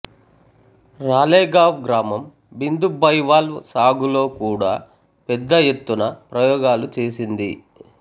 రాలేగావ్ గ్రామం బిందు బైవాల్వ్ సాగులో కూడా పెద్ద ఎత్తున ప్రయోగాలు చేసింది